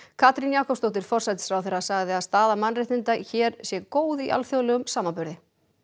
Katrín Jakobsdóttir forsætisráðherra segir að staða mannréttinda hér sé góð í alþjóðlegum samanburði